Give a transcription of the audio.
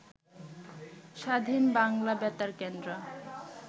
স্বাধীন বাংলা বেতার কেন্দ্র